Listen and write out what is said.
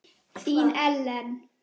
Þín, Ellen.